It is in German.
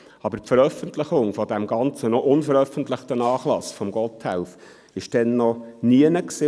Aber die Veröffentlichung des ganzen noch unveröffentlichten Nachlasses von Gotthelf war damals noch nirgends.